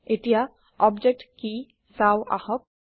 এতিয়া অবজেক্ট কি চাওঁ আহক